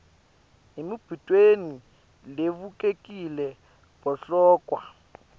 emibutweni levulekile bahlolwa